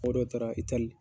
Fo dɔw taara Itali.